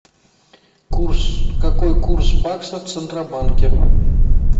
курс какой курс баксов в центробанке